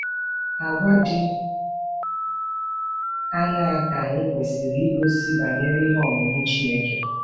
Àgwà dị aṅaa ka anyị kwesịrị igosi banyere ihe ọmụma Chineke?